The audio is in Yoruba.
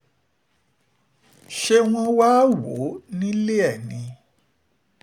ṣé wọ́n wáá wò ó nílé ẹ ni